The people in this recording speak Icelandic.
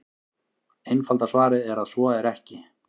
Einfalda svarið er að svo er ekki.